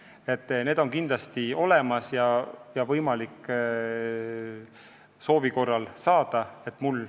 Need arvutused on kindlasti olemas ja neid on võimalik soovi korral saada.